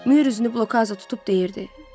Mür üzünü blokaza tutub deyirdi: